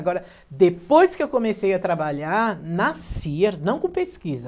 Agora, depois que eu comecei a trabalhar, na Sears, não com pesquisa.